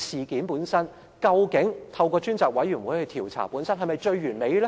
究竟透過專責委員會調查事件是否最完美呢？